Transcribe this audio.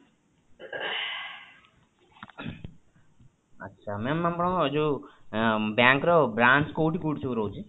ଆଚ୍ଛା, mam ଆପଣଙ୍କର ଯୋଉ ଅଁ bank ର branch କୋଉଠି କୋଉଠି ସବୁ ରହୁଛି?